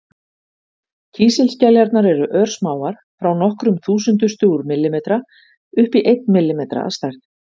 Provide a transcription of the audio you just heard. Kísilskeljarnar eru örsmáar, frá nokkrum þúsundustu úr millimetra upp í einn millimetra að stærð.